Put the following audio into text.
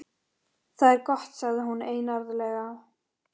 Símonarson jós yfir mig mannskemmandi ósvífni.